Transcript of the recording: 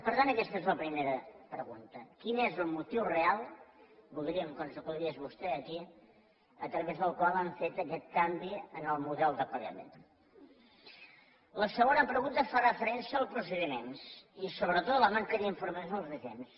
per tant aquesta és la primera pregunta quin és el motiu real voldríem que ens ho aclarís vostè aquí a través del qual han fet aquest canvi en el model de pagament la segona pregunta fa referència als procediments i sobretot la manca d’informació als agents